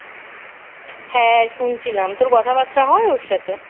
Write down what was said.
হ্যাঁ শুনছিলাম তোর কথা বার্তা হয় ওর সাথে